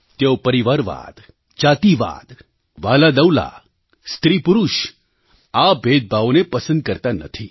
તેઓ પરિવારવાદ જાતિવાદ વ્હાલાદવલા સ્ત્રીપુરુષ આ ભેદભાવોને પસંદ કરતા નથી